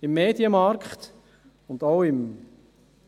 Im Medienmarkt, auch im